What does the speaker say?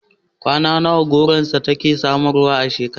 Kwai nawa gonarsa take samarwa a shekara?